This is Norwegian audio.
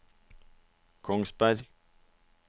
Kongsberg